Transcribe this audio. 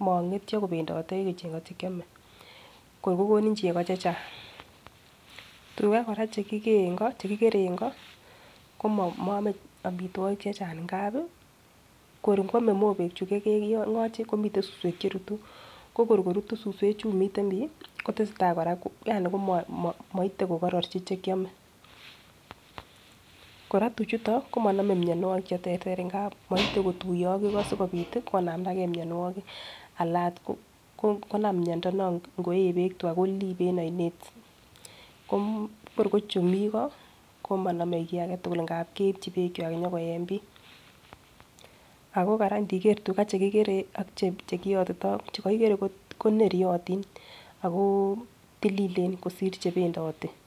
mong'etyo kocheng'ote chekiome kor kokonin chego checheng',tuga kora chekikere en ng'o ko moome omitwogik chechang' ngab ii kor kwomw mobeek chukokeng'oji komiten suswek cherutu, kokor korutu suswek chumiten bi yaani komoite kora kororji chekiome, kora tuchuto ko monome kora mionwogik cheterter ngab moite kotuyo ak ego sokobit konamdagen mionwogik anan ot konam miondo non ingoee beek tuga kolibe en oinet, kor ko chumigo komonome kii agetugun ngab keibchi beek koye en bii, ako kora indiker tuga chekikere ak chekiyotitoo ko chekokigere koneryotik ako tililen kosir chebendoti.